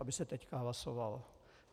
Aby se teď hlasovalo.